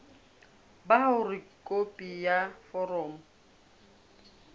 ba hore khopi ya foromo